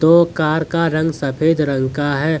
ओ car का रंग सफेद रंग का है।